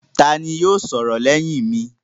Ta ni yóò sọ̀rọ̀ lẹ́yìn mi?